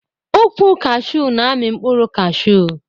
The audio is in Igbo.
Ụkwụ kashew n'ami mkpụrụ kashew